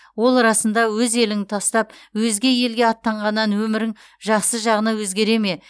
ол расында өз еліңді тастап өзге елге аттанғаннан өмірің жақсы жағына өзгере ме